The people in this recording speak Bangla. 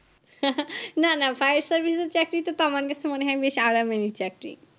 না না fire service এর চাকরি তা তো আমার কাছে মনেহয় বেশ আরামেরই চাকরি